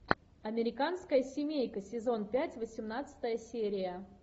американская семейка сезон пять восемнадцатая серия